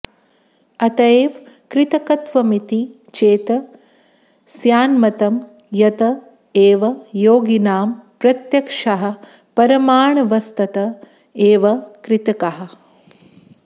अतएव कृतकत्वमिति चेत् स्यान्मतं यत एव योगिनां प्रत्यक्षाः परमाणवस्तत एव कृतकाः